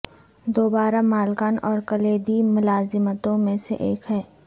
دوبارہ مالکان اور کلیدی ملازمتوں میں سے ایک ہے